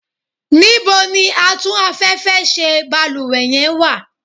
níbo ni Atún afẹ́fẹ́ ṣe balúwẹ́ yen wa?